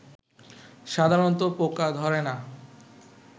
সাধারণত পোকা ধরে না